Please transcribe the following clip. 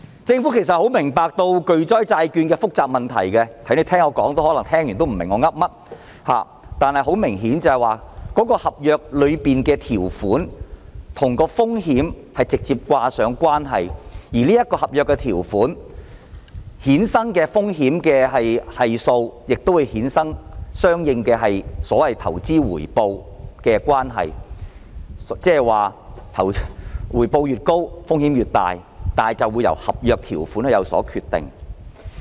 政府十分明白巨災債券的複雜問題，可能大家聆聽了這麼久也不明白我在說甚麼，但明顯地，合約條款與風險確實是直接掛上了關係，而合約條款衍生的風險系數亦會衍生相應的所謂投資回報程度，即回報越高，風險越大，而一切皆由合約條款決定。